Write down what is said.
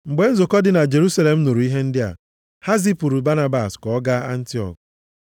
Mgbe nzukọ dị na Jerusalem nụrụ ihe ndị a, ha zipụrụ Banabas ka ọ gaa Antiọk.